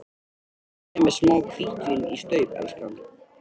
Viltu gefa mér smá hvítvín í staup, elskan?